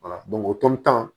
o